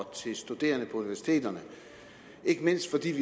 studerende på universiteterne ikke mindst fordi vi